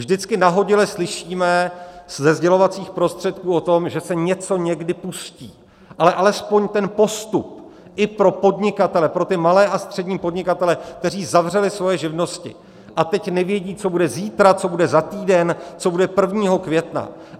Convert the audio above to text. Vždycky nahodile slyšíme ze sdělovacích prostředků o tom, že se něco někdy pustí, ale alespoň ten postup i pro podnikatele, pro ty malé a střední podnikatele, kteří zavřeli svoje živnosti a teď nevědí, co bude zítra, co bude za týden, co bude 1. května.